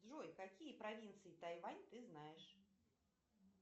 джой какие провинции тайвань ты знаешь